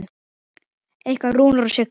Ykkar Rúnar og Signý.